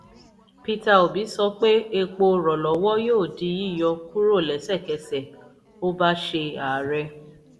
peter obi sọ pé epo rọ̀lọ́wọ́ yóò di yíyọ kúrò lẹ́sẹ̀kẹsẹ̀ ó bá ṣe ààrẹ.